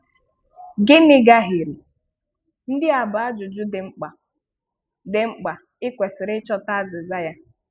Gịnị gahiere? Ndị a bụ ajụjụ dị mkpa dị mkpa ị kwesịrị ịchọta azịza ya.